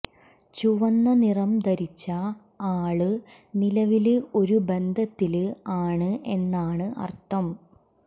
ചുവന്ന നിറം ധരിച്ച ആള് നിലവില് ഒരു ബന്ധത്തില് ആണ് എന്നാണു അര്ഥം